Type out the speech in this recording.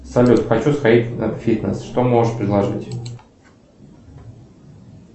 салют хочу сходить на фитнес что можешь предложить